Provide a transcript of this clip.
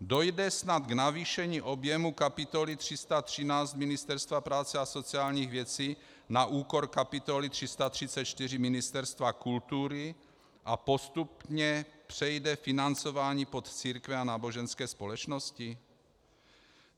Dojde snad k navýšení objemu kapitoly 313 Ministerstva práce a sociálních věcí na úkor kapitoly 334 Ministerstva kultury a postupně přejde financování pod církve a náboženské společnosti?